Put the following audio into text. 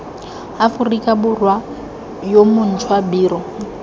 aforika borwa yo montšhwa biro